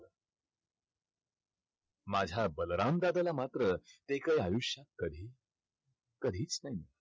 माझ्या बलराम दादाला मात्र ते काय आयुष्यात कधी कधीच नाही.